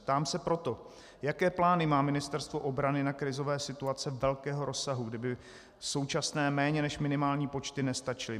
Ptám se proto, jaké plány má Ministerstvo obrany na krizové situace velkého rozsahu, kdyby současné méně než minimální počty nestačily.